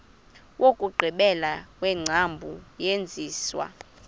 wokugqibela wengcambu yesenziwa